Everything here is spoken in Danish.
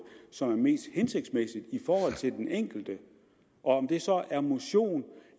som er mest hensigtsmæssige i forhold til den enkelte om det så er motion